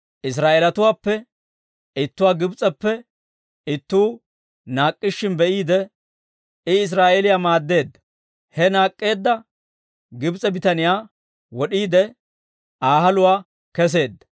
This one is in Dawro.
Israa'eelatuwaappe ittuwaa Gibs'eppe ittuu naak'k'ishshin be'iide, he Israa'eeliyaa maaddeedda; he naak'k'eedda Gibs'e bitaniyaa wod'iide, Aa haluwaa kesseedda.